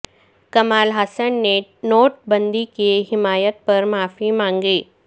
کمال حسن نے نوٹ بندی کی حمایت پر معافی مانگی